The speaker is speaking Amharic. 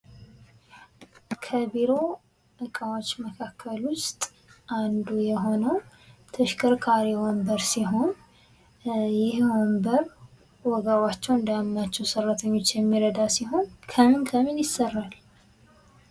ከቢሮ እቃዎች መካከል ውስጥ አንዱ የሆነው ተሽከርካሪ ወንበር ሲሆን ይህ ወንበር ወገባቸውን እንዳያማቸው ሰራተኞችን የሚረዳቸው ሲሆን ከምን ከምን ይሰራል?